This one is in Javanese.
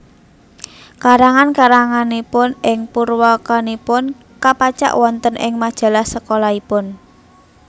Karangan karanganipun ing purwakanipun kapacak wonten ing majalah sekolahipun